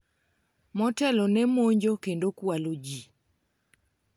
motelo ne monjo kendo kwalo ji